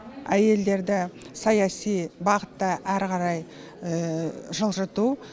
әйелдерді саяси бағытта әрі қарай жылжыту